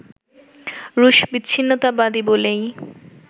রুশ বিচ্ছিন্নতাবাদী বলেই